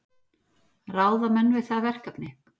Ráða menn við það verkefni?